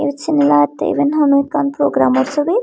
yot seney lagettey iben honow ekkan programawr chobi.